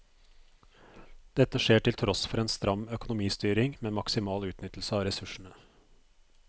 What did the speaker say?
Dette skjer til tross for en stram økonomistyring med maksimal utnyttelse av ressursene.